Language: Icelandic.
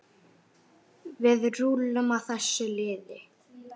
Við rúllum á þessu liði.